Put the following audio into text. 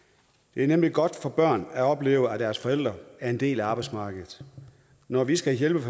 det er nemlig godt for børnene at opleve at deres forældre er en del af arbejdsmarkedet når vi skal hjælpe